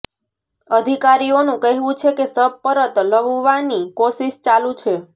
અધિકારીઓનું કહેવું છે કે શબ પરત લવવાની કોશિશ ચાલુ છે